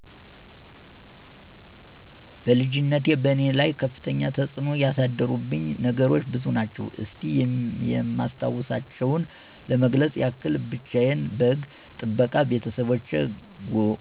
በልጅነቴ በእኔ ላይ ከፍተኛ ተፅኖ ያደረሱብኝ ነገሮች ብዙ ናቸው። እስቲ የማስታውሳቸውን ለመግለፅ ያክል፦ ብቻየን በግ ጥበቃ በቤተሰቦቼ